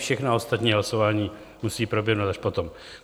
Všechna ostatní hlasování musejí proběhnout až potom.